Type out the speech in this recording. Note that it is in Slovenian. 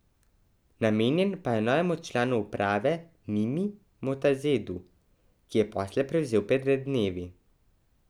Namenjen pa je novemu članu uprave Nimi Motazedu, ki je posle prevzel pred dnevi.